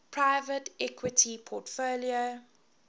private equity portfolio